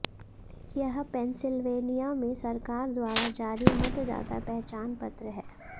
यह पेंसिल्वेनिया में सरकार द्वारा जारी मतदाता पहचान पत्र है